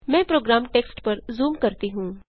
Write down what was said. मैं program text पर zoom करती हूँ